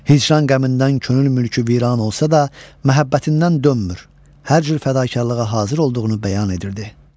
Hicran qəmindən könül mülkü viran olsa da, məhəbbətindən dönmür, hər cür fədakarlığa hazır olduğunu bəyan edirdi.